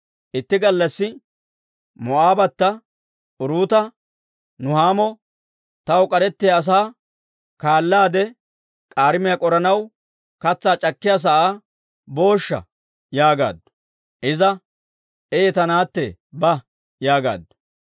Itti gallassi Moo'aabbata Uruuta Nuhaamo, «Taw k'arettiyaa asaa kaallaade k'aarimiyaa k'oranaw katsaa c'akkiyaa sa'aa booshsha?» yaagaaddu. Iza, «Ee ta naatte, ba» yaagaaddu.